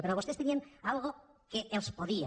però vostès tenien una cosa que els podia